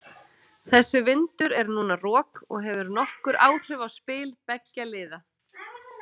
Þessi vindur er núna rok og hefur nokkur áhrif á spil beggja liða.